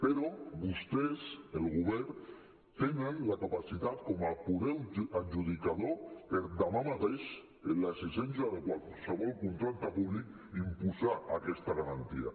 però vostès el govern tenen la capacitat com a poder adjudicador per demà mateix amb l’existència de qualsevol contracte públic imposar aquesta garantia